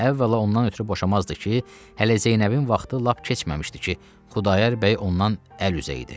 Əvvəla ondan ötrü boşamazdı ki, hələ Zeynəbin vaxtı lap keçməmişdi ki, Xudayar bəy ondan əl üzə idi.